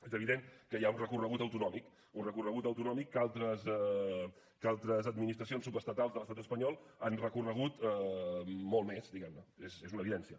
és evident que hi ha un recorregut autonòmic un recorregut autonòmic que altres administracions subestatals de l’estat espanyol han recorregut molt més diguem ne és una evidència